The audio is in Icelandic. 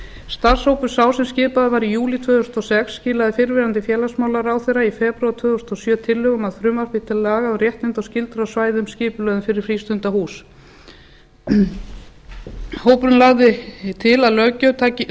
starfshópur sá sem skipaður var í júlí tvö þúsund og sex skilaði fyrrverandi félagsmálaráðherra í febrúar tvö þúsund og sjö tillögu um að frumvarpi til laga um réttindi og skyldur á svæðum skipulögðum fyrir frístundahús hópurinn lagði til að